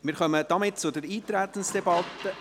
Somit kommen wir zur Eintretensdebatte.